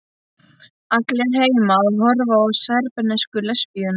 Allir heima að horfa á serbnesku lesbíuna.